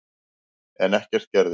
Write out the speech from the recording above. En ekkert gerðist.